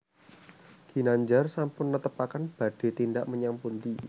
Ginandjar sampun netepaken badhe tindak menyang pundi